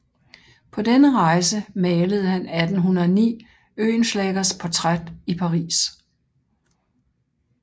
På denne rejse malede han 1809 Oehlenschlägers portræt i Paris